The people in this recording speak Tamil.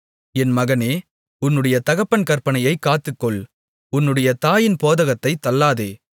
என் மகனே உன்னுடைய தகப்பன் கற்பனையைக் காத்துக்கொள் உன்னுடைய தாயின் போதகத்தைத் தள்ளாதே